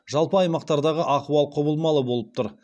жалпы аймақтардағы ахуал құбылмалы болып тұр